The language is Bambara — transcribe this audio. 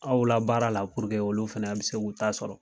Aw la baara la puruke olu fɛnɛ bi se k'u ta sɔrɔ